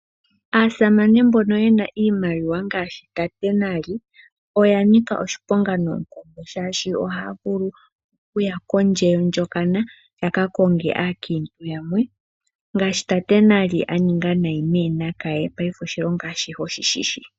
Aasamane mbono yena iimaliwa ngaashi tate Nali oya nika oshiponga noonkondo shaashi ohaya vulu oku ya kondje yondjokana . Ya ka konge aakiintu yamwe ngaashi tate Nali aninga nayi meeNakaye paife oshilongo ashihe oshi shishi.